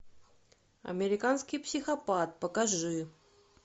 американский психопат покажи